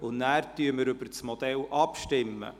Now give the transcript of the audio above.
Danach stimmen wir über das Modell ab.